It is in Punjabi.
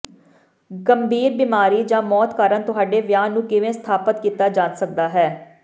ਗੰਭੀਰ ਬੀਮਾਰੀ ਜਾਂ ਮੌਤ ਕਾਰਨ ਤੁਹਾਡੇ ਵਿਆਹ ਨੂੰ ਕਿਵੇਂ ਸਥਾਪਤ ਕੀਤਾ ਜਾ ਸਕਦਾ ਹੈ